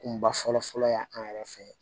Kunba fɔlɔ fɔlɔ y'an yɛrɛ fɛn ye